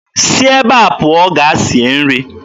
Si ebe a pụọ gaa sie nri!